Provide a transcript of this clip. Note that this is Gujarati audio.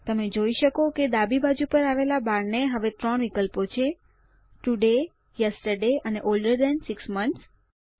તમે જોઈ શકો કે ડાબી બાજુ પર આવેલા બાર ને હવે 3 વિકલ્પો છે તોડાય યેસ્ટરડે અને ઓલ્ડર થાન 6 મોન્થ્સ